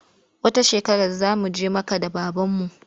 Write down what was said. Wata shekarar za mu je Makka da babanmu.